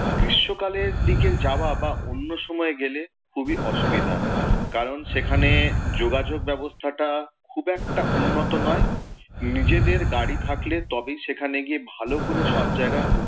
গ্রীষ্মকালের দিকের যাওয়া বা অন্য সময় গেলে খুবই অসুবিধা। কারণ সেখানে যোগাযোগ ব্যাবস্থাটা খুব একটা উন্নত নয়, নিজেদের গাড়ি থাকলে তবেই সেখানে গিয়ে ভালো করে সব জায়গায়